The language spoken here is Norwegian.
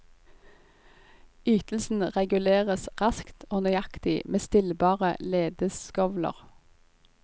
Ytelsen reguleres raskt og nøyaktig med stillbare ledeskovler.